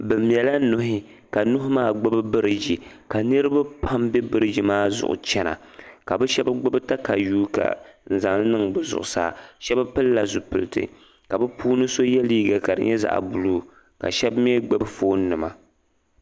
Bɛ mɛla nuhi ka nuu maa gbibi biriiji ka niriba pam be biriiji maa zuɣu chana ka bɛ shɛba gbibi takayua n-zaŋ li niŋ bɛ zuɣusaa. Shɛba pilila zupiliti ka bɛ puuni shɛba ye liiga ka di zaɣ' buluu ka shɛba mi gbibi foonnima.